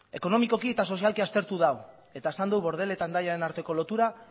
ekonomikoki eta sozialki aztertu dau eta esan du bordele eta hendaiaren arteko lotura